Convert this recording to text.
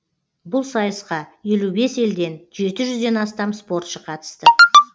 бұл сайысқа елу бес елден жеті жүзден астам спортшы қатысты